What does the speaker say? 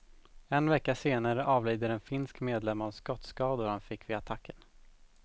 En vecka senare avlider en finsk medlem av skottskador han fick vid attacken.